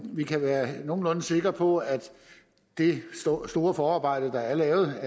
vi kan være nogenlunde sikre på at det store forarbejde der er lavet